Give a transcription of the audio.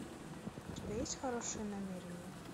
у тебя есть хорошие намерения